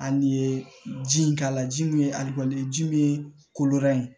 Ani ye ji in k'a la ji min ye ali ye ji min ye koloba in